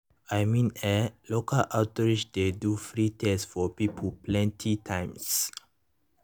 i mean eh local outreach dey do free test for people plenty times.